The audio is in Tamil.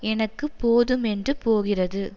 எனக்கு போதுமென்று போகிறது